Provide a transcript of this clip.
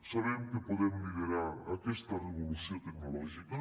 sabem que podem liderar aquesta revolució tecnològica